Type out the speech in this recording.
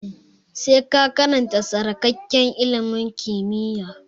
Sai ka karanta tsarkakakke ilimin kimiyya!